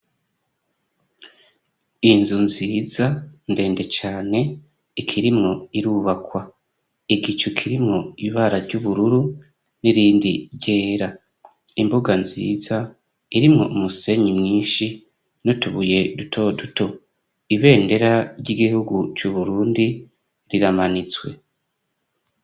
Inzu nziza ndende cane ikirimwo irubakwa. igicu kirimwo ibara ry'ubururu n'irindi ryera. Imbuga nziza irimwo umusenyi mwinshi nutubuye duto duto. Ibendera ry'igihugu c' Uburundi riramanitswe.